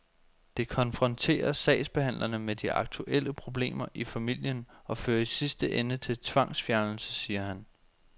Det konfronterer sagsbehandlerne med de aktuelle problemer i familien og fører i sidste ende til tvangsfjernelse, siger han.